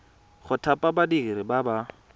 go thapa badiri ba ba